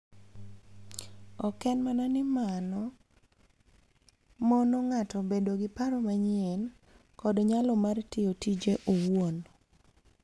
Ok en mana ni mano mono ng'ato bedo gi paro manyien kod nyalo mar tiyo tije owuon